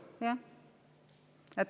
Jah.